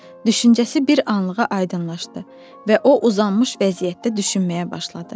Düşüncəsi bir anlığa aydınlaşdı və o uzanmış vəziyyətdə düşünməyə başladı.